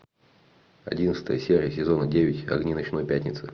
одиннадцатая серия сезона девять огни ночной пятницы